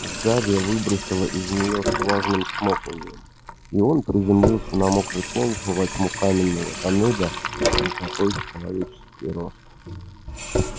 у гарри выбросило из неё с влажным чмоканьем и он приземлился на мокрый пол во тьму каменного тоннеля высотой в человеческий рост